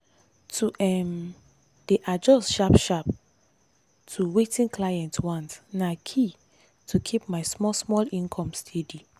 to um dey adjust sharp-sharp to wetin clients want na key to keep my small-small income steady.